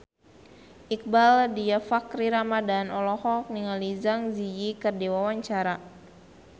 Iqbaal Dhiafakhri Ramadhan olohok ningali Zang Zi Yi keur diwawancara